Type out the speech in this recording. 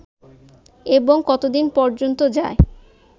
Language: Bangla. এবং কতদিন পর্যন্ত যায়